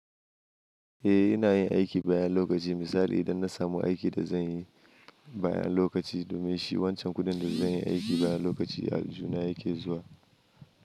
Eh, ina yin aiki bayan lokaci. Misali idan na samu aikin da zan yi bayan lokaci domin shi wancan kuɗin da zan yi aiki bayan lokaci, aljuhuna yake zuwa.